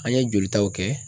An ye jolitaw kɛ.